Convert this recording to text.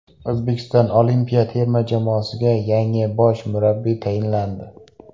O‘zbekiston olimpiya terma jamoasiga yangi bosh murabbiy tayinlandi.